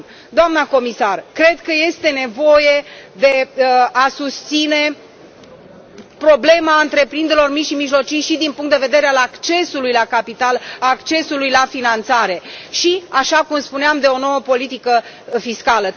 Doamnă comisar, cred că este nevoie de a susține problema întreprinderilor mici și mijlocii și din punct de vedere al accesului la capital, a accesului la finanțare și, așa cum spuneam, de o nouă politică fiscală.